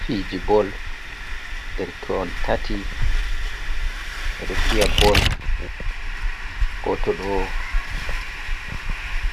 Fiji ball. Derke hon tati ɓedo fiya ball. Goto ɗo